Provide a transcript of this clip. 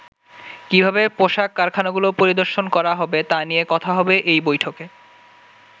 কিভাবে পোশাক কারখানাগুলো পরিদর্শন করা হবে তা নিয়ে কথা হবে এই বৈঠকে।